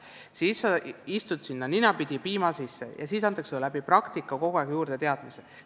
Siis ta satub ninapidi piima sisse ja talle antakse praktikal kogu aeg teadmisi juurde.